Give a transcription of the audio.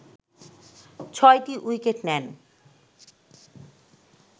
ছয়টি উইকেট নেন